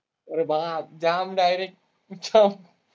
अरे बाप, जाम डायरेक्ट जाम.